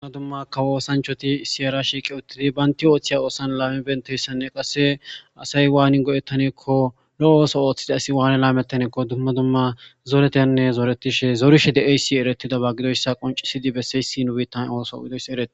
dumma dumma kawo osanchoti siera shiiqe uttidi baynti ooththiya oosan laame benteyssanne qasse asay waanin go7ettaneekko lo7o ooso ooththide asi waane laamettaneekko dumma dumma zoretenne zooretishe zorishe de7eysi eretida ba gidoyssa qoncisidi besseyssi nu biittan ooso gidoysi ereti